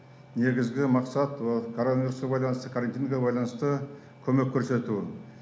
негізгі мақсат вот коронавирусқа байланысты карантинге байланысты көмек көрсету